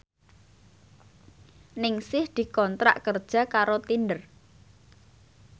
Ningsih dikontrak kerja karo Tinder